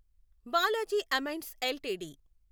Balaji Amines LTD